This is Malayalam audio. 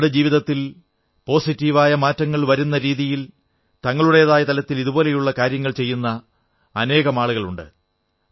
ആളുകളുടെ ജീവിതത്തിൽ സകാരാത്മകമായ മാറ്റങ്ങൾ വരുന്നരീതിയിൽ തങ്ങളുടേതായ തലത്തിൽ ഇതുപോലുള്ള കാര്യങ്ങൾ ചെയ്യുന്ന അനേകരുണ്ട്